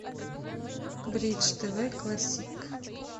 бридж тв классик